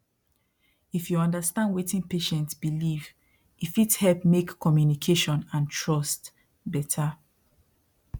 if you understand wetin patient believe e fit help make communication and trust better